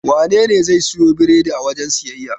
Wanene zai siyo biredi a wajen siyayya?